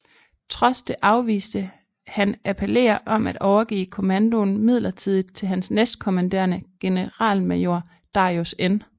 Trods det afviste han appeller om at overgive kommandoen midlertidigt til hans næstkommanderende generalmajor Darius N